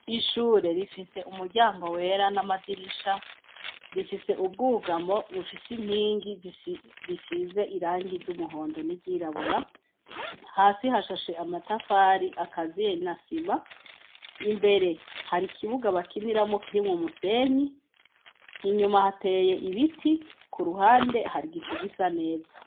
Ishure rifise umuryango wera n'amadirisha rifise ubwugamo bufise inkingi risize irangi ry'umuhondo n'iryirabura hasi hashashe amatafari akazie na sima imbere hari ikibuga bakiniramwo kirimwo musenyi inyuma hateye ibi ti ku ruhande hari gico gisa neza.